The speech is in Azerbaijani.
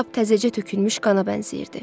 Lap təzəcə tökülmüş qana bənzəyirdi.